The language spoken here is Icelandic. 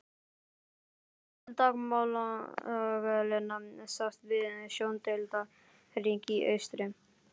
Ofurlítil dagmálaglenna sást við sjóndeildarhring í austri.